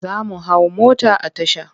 Za mu hau mota a tasha.